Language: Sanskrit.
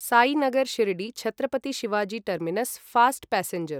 Sainagar Shirdi Chhatrapati Shivaji terminus fast passenger